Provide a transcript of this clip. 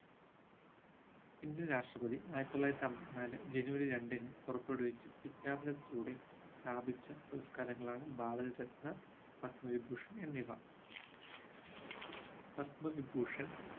indian രാഷ്ട്രപതി ആയിരത്തിത്തൊള്ളായിരത്തി അമ്പത്തിനാലു ജനുവരി രണ്ടിന് പുറപ്പെടുവിച്ച വിജ്ഞാപനത്തിലൂടെ സ്ഥാപിച്ച പുരസ്‌കാരങ്ങളാണ് ഭാരത രത്ന പത്മവിഭൂഷൺ എന്നിവ പത്മവിഭൂഷൺ